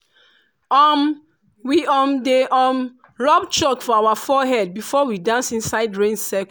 um we um dey um rub chalk for our forehead before we dance inside rain cir